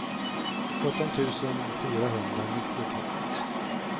sjutton tusen fyrahundranittiotvå